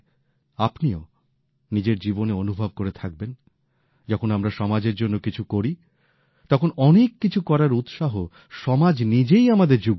আপনিও নিজের জীবনে অনুভব করে থাকবেন যখন আমরা সমাজের জন্য কিছু করি তখন অনেক কিছু করার উৎসাহ সমাজ নিজেই আমাদের জুগিয়ে দেয়